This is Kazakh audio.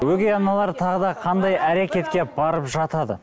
өгей аналар тағы да қандай әрекетке барып жатады